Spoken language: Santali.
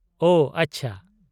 ᱳ, ᱟᱪᱪᱷᱟ ᱾